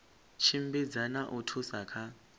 tshimbidza na u thusa kha